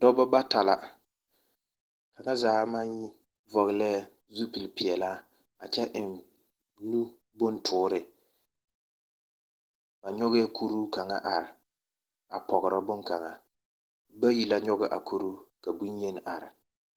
Dɔba bata la. Kaŋa zaa maŋ vɔglee zupelpeɛlaa a kyɛ eŋ nu bontoore. Ba nyɔgɛɛ kuru kaŋa are a pɔgrɔ boŋkaŋa bayi la nyɔge a kuruu, ka bonyeni are.